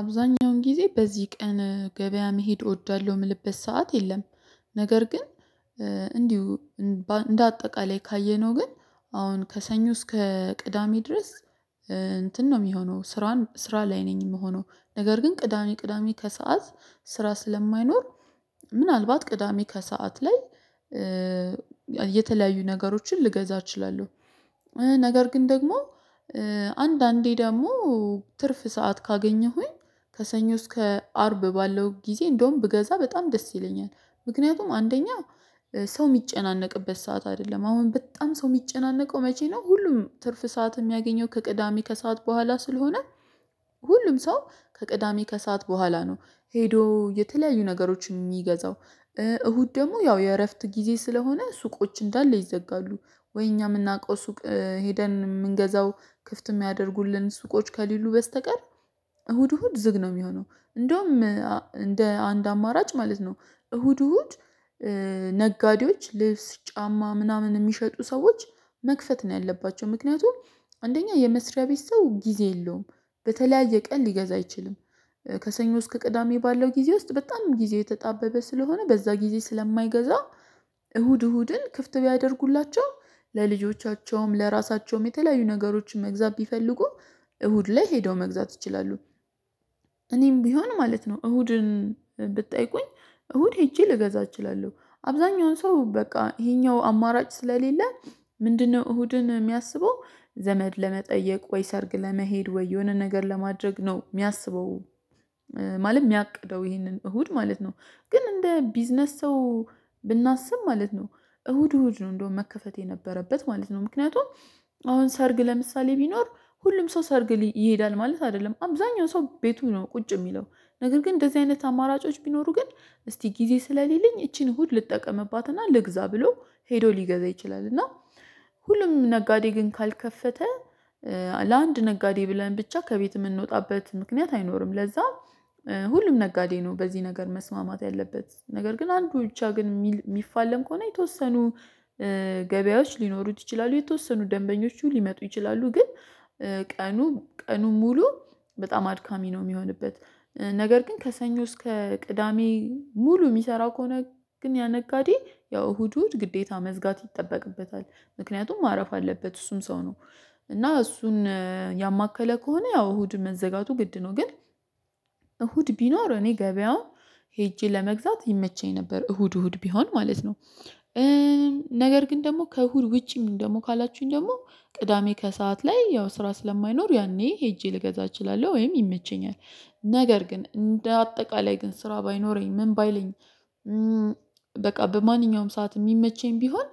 አብዛኛውን ጊዜ በዚህ ቀን ገበያ መሄድ እወዳለሁ ምልበት ሰዓት የለም። ነገር ግን እንዲሁ እንደ አጠቃላይ ካየነው ግን አሁን ከሰኞ እስከ ቅዳሜ ድረስ እንትን ነው የሚሆነው ስራን ስራ ላይ ነኝ የምሆነው ነገር ግን ቅዳሜ ቅዳሜ ከሰአት ስራ ስለማይኖር ምናልባት ቅዳሜ ከሰአት ላይ የተለያዩ ነገሮችን ልገዛ እችላለሁ። ነገር ግን ደግሞ አንዳንዴ ደግሞ ትርፍ ሰዓት ካገኘሁኝ ከሰኞ እስከ አርብ ባለው ጊዜ እንደውም ብገዛ በጣም ደስ ይለኛል። ምክንያቱም አንደኛ ሰው የሚጨናነቅበት ሰዓት አይደለም አሁን በጣም ሰው የሚጨናነቀው መቼ ነው ሁሉም ትርፍ ሰዓት የሚያገኘው ከቅዳሜ ከሰአት በኋላ ስለሆነ ሁሉም ሰው ከቅዳሜ ከሰአት በኋላ ነው ሄዶ የተለያዩ ነገሮች የሚገዛው። እሁድ ደግሞ ያው የእረፍት ጊዜ ስለሆነ ሱቆች እንዳለ ይዘጋሉ ወይ እኛ የምናውቀው ሱቅ ሄደን የምንገዛው ክፍት የሚያደርጉልን ሱቆች ከሌሉ በስተቀር እሁድ እሁድ ዝግ ነው የሚሆነው እንደውም እንደ አንድ አማራጭ ማለት ነው። እሁድ እሁድ ነጋዴዎች ልብስ ጫማ ምናምን የሚሸጡ ሰዎች መክፈት ነው ያለባቸው ምክንያቱም አንደኛ የመስሪያ ቤት ሰው ጊዜ የለውም በተለያየ ቀን ሊገዛ አይችልም። ከሰኞ እስከ ቅዳሜ ባለው ጊዜ ውስጥ በጣም ጊዜ የተጣበበ ስለሆነ በዛ ጊዜ ስለማይገዛ እሁድ እሁድን ክፍት ቢያደርጉላቸው ለልጆቻቸውም ለራሳቸውም የተለያዩ ነገሮችን መግዛት ቢፈልጉ እሁድ ላይ ሄደው መግዛት ይችላሉ። እኔም ቢሆን ማለት ነው እሁድን ብትጠይቁኝ እሁድ ሄጄ ልገዛ እችላለሁ አብዛኛውን ሰው በቃ ይሄኛው አማራጭ ስለሌለ ምንድነው እሁድን የሚያስበው ዘመድ ለመጠየቅ ወይ ሰርግ ለመሄድ ወይ የሆነ ነገር ለማድረግ ነው የሚያስበው? ማለት የሚያቅደው ይሄንን እሁድ ማለት ነው ግን እንደ ቢዝነስ ሰው ብናስብ ማለት ነው እሁድ እሁድ ነው እንደውም መከፈት የነበረበት ማለት ነው። ምክንያቱም አሁን ሰርግ ለምሳሌ ቢኖር ሁሉም ሰው ሰርግ ይሄዳል ማለት አይደለም አብዛኛው ሰው ቤቱ ነው ቁጭ የሚለው ነገር ግን እንደዚህ አይነት አማራጮች ቢኖሩ ግን እስቲ ጊዜ ስለሌለኝ ይቺን እሁድ ልጠቀምባትና ልግዛ ብሎ ሄዶ ሊገዛ ይችላል። እና ሁሉም ነጋዴ ግን ካልከፈተ ተ ለአንድ ነጋዴ ብለን ብቻ ከቤት የምንወጣበት ምክንያት አይኖርም ለዛ ሁሉም ነጋዴ ነው። በዚህ ነገር መስማማት ያለበት ነገር ግን አንዱ ብቻ ግን የሚፋለም ከሆነ የተወሰኑ ገበያዎች ሊኖሩት ይችላሉ የተወሰኑ ደንበኞቹ ሊመጡ ይችላሉ ግን ቀኑ ቀኑ ሙሉ በጣም አድካሚ ነው። የሚሆንበት ነገር ግን ከሰኞ እስከ ቅዳሜ ሙሉ የሚሰራው ከሆነ ግን ያ ነጋዴ ያው እሁድ እሁድ ግዴታ መዝጋት ይጠበቅበታል ምክንያቱም ማረፍ አለበት እሱም ሰው ነው። እና እሱን ያማከለ ከሆነ ያው እሁድ መዘጋቱ ግድ ነው ግን እሁድ ቢኖር እኔ ገበያውን ሄጄ ለመግዛት ይመቸኝ ነበር እሁድ እሁድ ቢሆን ማለት ነው። ነገር ግን ደግሞ ከእሁድ ውጪ ምን ደግሞ ካላችሁኝ ደግሞ ቅዳሜ ከሰአት ላይ ያው ስራ ስለማይኖር ያኔ ሄጄ ልገዛ እችላለሁ ወይም ይመቸኛል። ነገር ግን እንደ አጠቃላይ ግን ስራ ባይኖረኝ ምን ባይለኝ በቃ በማንኛውም ሰዓት የሚመቸኝ ቢሆን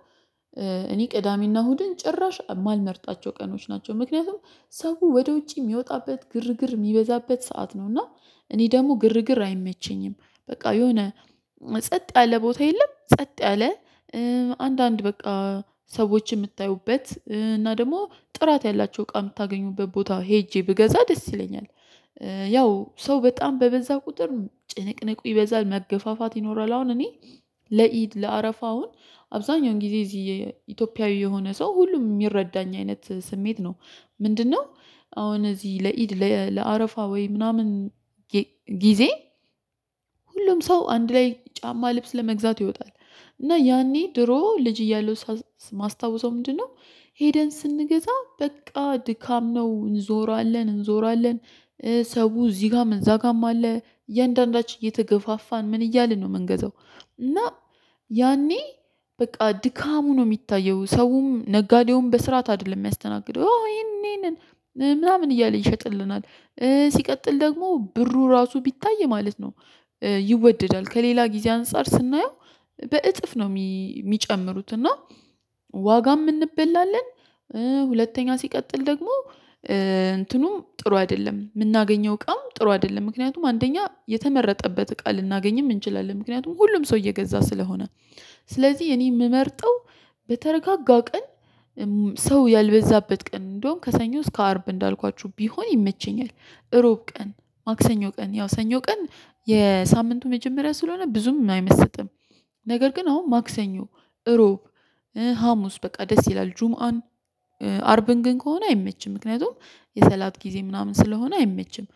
እኔ ቅዳሜና እሁድን ጭራሽ የማልመርጣቸው ቀኖች ናቸው። ምክንያቱም ሰው ወደ ውጭ የሚወጣበት ግርግር የሚበዛበት ሰዓት ነው እና እኔ ደግሞ ግርግር አይመቸኝም በቃ የሆነ ጸጥ ያለ ቦታ የለም ጸጥ ያለ አንዳንድ በቃ ሰዎችን የምታዩበት እና ደግሞ ጥራት ያላቸው እቃ የምታገኙበት ቦታ ሄጄ ብገዛ ደስ ይለኛል። ያው ሰው በጣም በበዛ ቁጥር ጭንቅንቁ ይበዛል መገፋፋት ይኖራል አሁን እኔ ለኢድ ለአረፋ አሁን አብዛኛውን ጊዜ እዚህ ኢትዮጵያዊ የሆነ ሰው ሁሉም የሚረዳኝ አይነት ስሜት ነው። ምንድነው አሁን እዚህ ለኢድ ለአረፋ ወይ ምናምን? ጊዜ ሁሉም ሰው አንድ ላይ ጫማ ልብስ ለመግዛት ይወጣል። እና ያኔ ድሮ ልጅ እያለሁ ማስታወሰው ምንድነው? ሄደን ስንገዛ በቃ ድካም ነው እንዞራለን እንዞራለን ሰው እዚህ ጋር መንዛ አለ። እያንዳንዳች እየተገፋፋን ምን እያልን ነው የምንገዛው? እና ያኔ በቃ ድካሙ ነው የሚታየው ሰውም ነጋዴውም በስርዓት አይደለም የሚያስተናግደው ይሄኔ ነን ምናምን እያለ ይሸጥልናል ሲቀጥል ደግሞ ብሩ ራሱ ቢታይ ማለት ነው። ይወደዳል ከሌላ ጊዜ አንፃር ስናየው በእጥፍ ነው የሚጨምሩት እና ዋጋም እንበላለን። ሁለተኛ ሲቀጥል ደግሞ እንትኑም ጥሩ አይደለም የምናገኘው ቀም ጥሩ አይደለም ምክንያቱም አንደኛ የተመረጠበት ቃል ልናገኝም እንችላለን ምክንያቱም ሁሉም ሰው እየገዛ ስለሆነ። ስለዚህ እኔ የምመርጠው በተረጋጋ ቀን ሰው ያልበዛበት ቀን እንደውም ከሰኞ እስከ አርብ እንዳልኳችሁ ቢሆን ይመቸኛል። እሮብ ቀን ማክሰኞ ቀን ያው ሰኞ ቀን የሳምንቱ መጀመሪያ ስለሆነ ብዙም አይመስጥም። ነገር ግን አሁን ማክሰኞ እሮብ ሀሙስ በቃ ደስ ይላል። ጁምአን አርብን ግን ከሆነ አይመችም ምክንያቱም የሰላት ጊዜ ምናምን ስለሆነ አይመችም።